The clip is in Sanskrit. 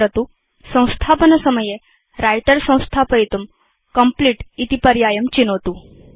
स्मरतुसंस्थापनसमये व्रिटर संस्थापयितुं कम्प्लीट इति पर्यायं चिनोतु